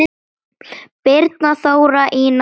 Birna, Þóra, Ína og Elsa.